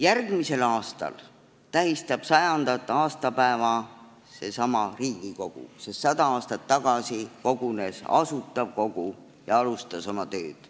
Järgmisel aastal tähistab 100. aastapäeva seesama Riigikogu, sest 100 aastat tagasi kogunes Asutav Kogu ja alustas oma tööd.